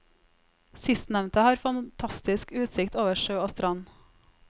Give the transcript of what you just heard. Sistnevnte har fantastisk utsikt over sjø og strand.